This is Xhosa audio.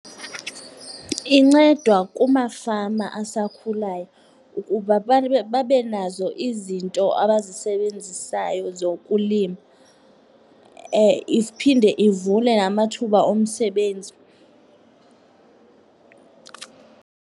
Incedwa kumafama asakhulayo ukuba babe nazo izinto abazisebenzisayo zokulima, iphinde ivule namathuba omsebenzi.